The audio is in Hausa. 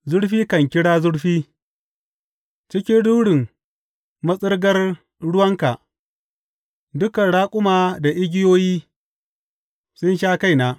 Zurfi kan kira zurfi cikin rurin matsirgar ruwanka; dukan raƙuma da igiyoyi sun sha kaina.